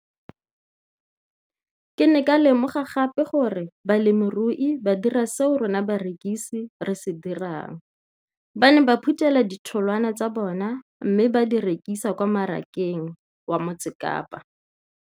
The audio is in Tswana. Ke ne ka lemoga gape gore balemirui ba dira seo rona barekisi re se dirang ba ne ba phuthela ditholwana tsa bona mme ba di rekisa kwa marakeng wa Motsekapa.